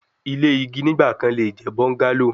Ile igi nigbakan le jẹ bungalow